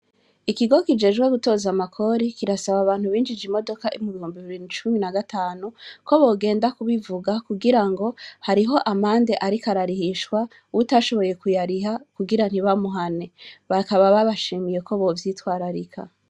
Ikigo kijejwe gutoza amakori kirasaba abantu binjije imodoka mubihumbi bibiri na cumi na gatanu kobogenda kubivuga kugirango hariho amande ariko ararihishwa uwutashoboye kuyariha kugira ntibamuhane. Bakaba babashimiye ko bovyitwararika.